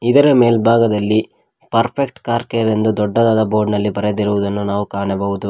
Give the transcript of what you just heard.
ಇದರ ಮೇಲ್ಭಾಗದಲ್ಲಿ perfect car care ಎಂದು ದೊಡ್ಡದಾದ ಬೋರ್ಡ್ ನಲ್ಲಿ ಬರದಿರುವುದನ್ನು ನಾವು ಕಾಣಬಹುದು.